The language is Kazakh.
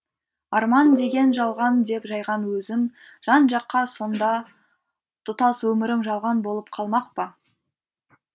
арман деген жалған деп жайған өзім жан жаққа сонда тұтас өмірім жалған болып қалмақ па